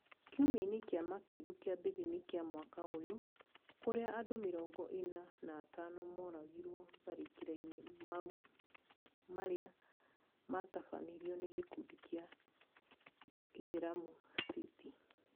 Kiumia kĩa makĩndu kĩambĩrĩria-inĩ kĩa mwaka ũyũ, kũrĩa andũ mĩrongo ĩna na atano moragirwo matharĩkĩra-inĩ mau marĩa matabanirio nĩ gĩkundi kĩa Islamic State